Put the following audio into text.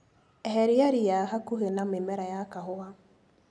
Eheria ria hakuhĩ na mĩmera ya kahũa.